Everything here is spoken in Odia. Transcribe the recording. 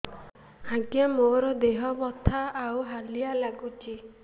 ଆଜ୍ଞା ମୋର ଦେହ ବଥା ଆଉ ହାଲିଆ ଲାଗୁଚି